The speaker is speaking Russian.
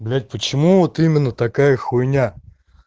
блять почему вот именно такая хуйня